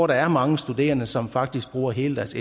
der er mange studerende som faktisk bruger hele deres